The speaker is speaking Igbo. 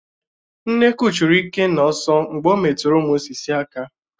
Nnekwu churu Ikenna ọ̀sọ̀ mgbe ọ metụrụ ụmụ sị́sị̀ aka